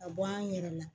Ka bɔ an yɛrɛ la